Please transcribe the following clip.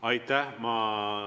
Aitäh!